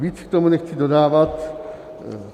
Víc k tomu nechci dodávat.